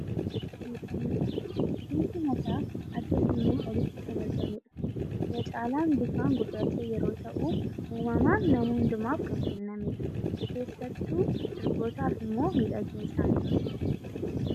Rifeensa mataa, rifeensi mataa adda keenyaa olitti kan argamudha. Irra caalaan bifaan gurraacha yeroo ta'u uummaman nama hundumaaf kan kennamedha. Keessattuu durbootaaf immoo miidhagina isaaniiti.